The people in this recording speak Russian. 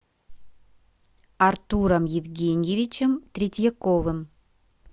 артуром евгеньевичем третьяковым